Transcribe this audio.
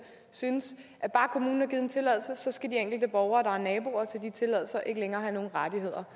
synes at bare kommunen har givet en tilladelse skal de enkelte borgere der er naboer til de tilladelser ikke længere have nogle rettigheder